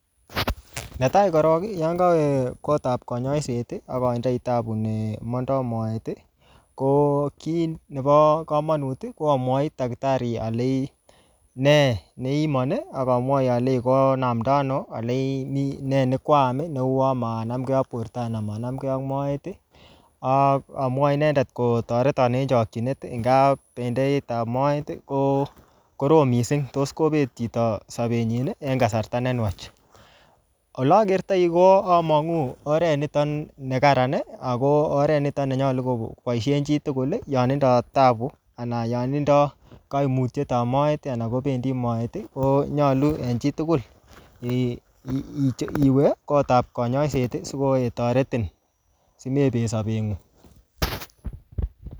Ne tai korok, yon kawe kotap kanyaiset, akatindoi taabu ne mandoi moet, ko kiy nebo komonut, ko amwochi daktari aleji nee neiiman, akamwochi aleji konamda ano, aleji nee nekwaam neu manamgei ak borto anan manamgei ak moet. Akamwochi inendet kotoreton eng chakchinet, eng gaa bendeit ap moet, ko korom missing. Tos kobet chito sabet nyi en kasarta ne nwach. Oleakertoi ko amang'u oret niton ne kararan, ako oret niton nenyolu koboisien chi tugul, yon tindoi taabu anan yotindoi kaimutietab moet, anan kobendi moet, konyolu en chitugul, um iwe kotap kanyaiset, siko um toretin, simebet sabet ng'ung